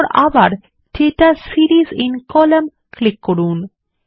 তারপর আবার data series in column click করুন